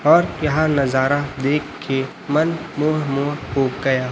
और यह नजारा देख के मन मोह मोह हो गया।